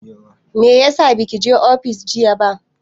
Meyasa baki zo ofis jiya ba?